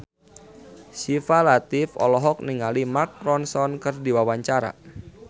Syifa Latief olohok ningali Mark Ronson keur diwawancara